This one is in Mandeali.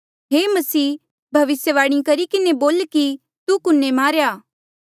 हे मसीह भविस्यवाणी करी किन्हें बोल कि तू कुने मारेया